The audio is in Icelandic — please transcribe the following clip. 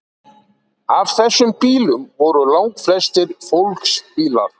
af þessum bílum voru langflestir fólksbílar